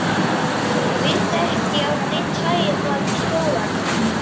Ég vildi ekki að neinn sæi það í skólanum.